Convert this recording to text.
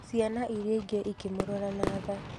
Ciana iria ingĩ ikĩmũrora na tha.